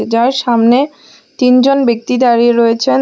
যার সামনে তিনজন ব্যক্তি দাঁড়িয়ে রয়েছেন।